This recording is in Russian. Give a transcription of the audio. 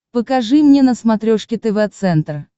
покажи мне на смотрешке тв центр